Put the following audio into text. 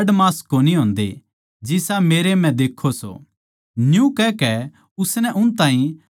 न्यू कहकै उसनै उन ताहीं अपणे हाथ पैर के घा दिखाए